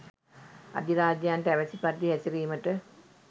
අධිරාජ්‍යයන්ට අවැසි පරිදි හැසිරීමට